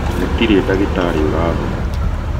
gũtirĩ ndagĩtarĩ ũrathoma